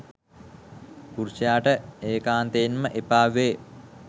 පුරුෂයාට ඒකාන්තයෙන්ම එපා වේ.